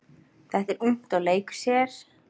Þetta er ungt og leikur sér.